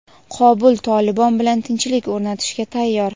Qobul "Tolibon" bilan tinchlik o‘rnatishga tayyor.